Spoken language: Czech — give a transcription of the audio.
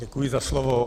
Děkuji za slovo.